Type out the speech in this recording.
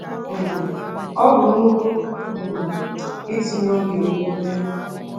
um Ọ bụ nnukwu um itinye oge na ume.